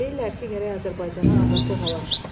Deyirlər ki, gərək Azərbaycana azadlıq alaq.